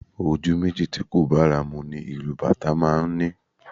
Ojú méjì tí kò bára mu ni ìlù Bàtá máa ń ní